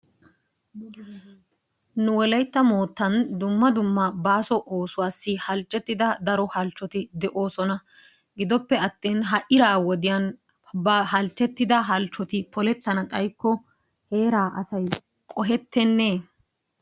Nu wolaytta moottan dumma dumma baaso oosuwaassi halchchettida daro halchchoti de'oosona. Giddoppe atin ha iraa wodiyan ba halchchettidda halchchoti polettanna xaykko heeraa asay qohettenee?